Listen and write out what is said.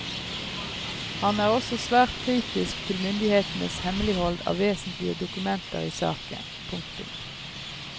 Han er også svært kritisk til myndighetenes hemmelighold av vesentlige dokumenter i saken. punktum